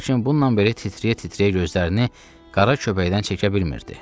Lakin bununla belə titrəyə-titrəyə gözlərini qara köpəkdən çəkə bilmirdi.